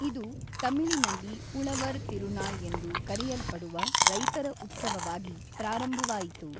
ಇದು ತಮಿಳಿನಲ್ಲಿ ಉಳವರ್‌ ತಿರುನಾಳ್‌ ಎಂದು ಕರೆಯಲ್ಪಡುವ ರೈತರ ಉತ್ಸವವಾಗಿ ಪ್ರಾರಂಭವಾಯಿತು.